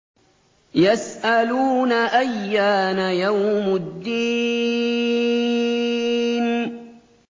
يَسْأَلُونَ أَيَّانَ يَوْمُ الدِّينِ